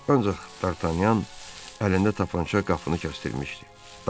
Ancaq Dartanyan əlində qraffrança qapını kəsdirmişdi.